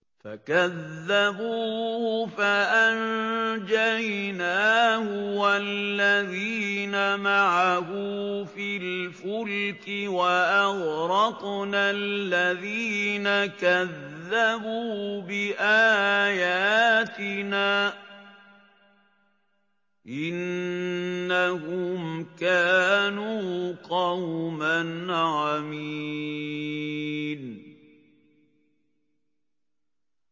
فَكَذَّبُوهُ فَأَنجَيْنَاهُ وَالَّذِينَ مَعَهُ فِي الْفُلْكِ وَأَغْرَقْنَا الَّذِينَ كَذَّبُوا بِآيَاتِنَا ۚ إِنَّهُمْ كَانُوا قَوْمًا عَمِينَ